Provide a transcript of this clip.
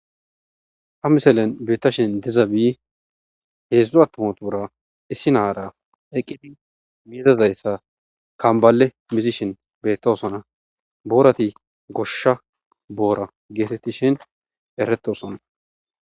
Ha miselen beetta shin diza bi heedzdzo attomatuura issi naara eqqidi miidazayssa kambale misishin bettosona boorati goshsha boora geetetti shin erettosona